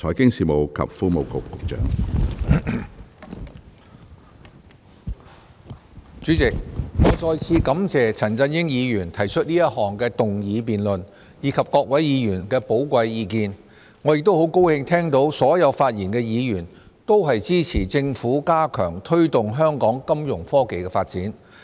主席，我再次感謝陳振英議員動議這項議案辯論，以及各位議員的寶貴意見，亦很高興聽到所有發言的議員都支持政府加強推動香港金融科技發展。